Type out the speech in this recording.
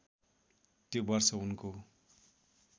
त्यो वर्ष उनको